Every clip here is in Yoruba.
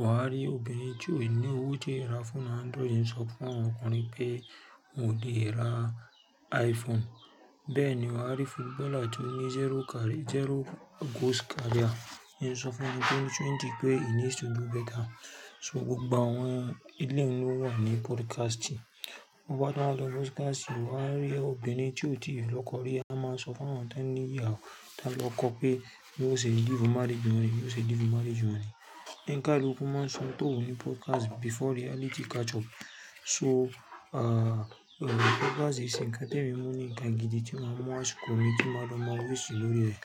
Wàá rí obìnrin tí ó ní owó tí ó lè ra fóònù Android ń sọ fún àwọn ọkùnrin pé wọn ò lè ra iPhone. Bẹ́ẹ̀ ni wàá rí footballer tó ní zero goals career ń sọ fún ẹni tó ń trend pé he needs to do better. So gbogbo àwọn eléun ló wà ní podcast. To bá tún wá lọ podcast, wàá wá rí obìnrin tí ò tíì lọ́kọ rí á máa wá sọ fún àwọn tọ́n ní ìyàwó tọ́n lọ́kọ pé bí wọ́n ó ṣe live marriage wọ́n nìí, bí wọ́n ó ṣe live marriage wọ́n nìí. Oníkálukú máa ń sọ ohun tó wùú ní podcast before reality catch up. So podcast ì ṣe nǹkan tí èmi mú ní nǹkan gidi tí màá mú àsìkò tí màá lọ máa waste lórí rẹ̀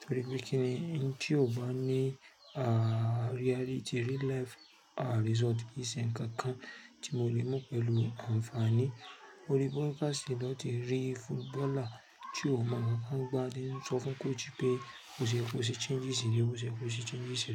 torí pé kí ni oun tí ò bá ní reality real life result kìí ṣe nǹkan kan tí mo lè mú pẹ̀lú àǹfààní. Orí podcast lọ ti rí footballer tí ò mọ nǹkan kan gbá tí ń sọ fún coach pé bó ṣe yẹ kó ṣe changes rèé o, bó ṣe yẹ kó ṣe changes rèé.